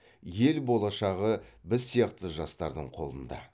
ел болашағы біз сияқты жастардың қолында